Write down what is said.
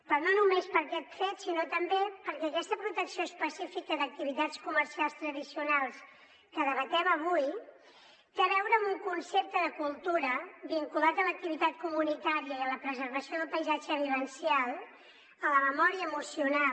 però no només per aquest fet sinó també perquè aquesta protecció específica d’activitats comercials tradicionals que debatem avui té a veure amb un concepte de cultura vinculat a l’activitat comunitària i a la preservació del paisatge vivencial a la memòria emocional